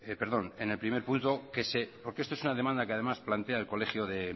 perdón en el primer punto porque esto es una demanda que además plantea el colegio de